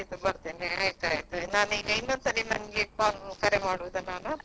ಆಯ್ತಾಯ್ತು ನಾನು ಇನ್ನೊಂದ್ಸಲ ನಿಮಗೆ call ಕರೆ ಮಾಡುದ ನಾನು.